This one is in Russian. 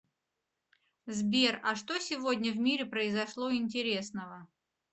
сбер а что сегодня в мире произошло интересного